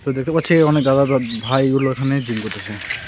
তো দেখতে পাচ্ছি অনেক দাদা-দৎ ভাইগুলো এখানে জিম করতেসে .